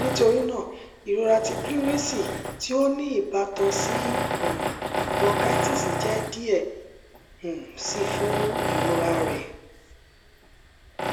nitorina irọra ti pleurisy ti o ni ibatan si um bronchitis jẹ diẹ um sii fun irora rẹ rẹ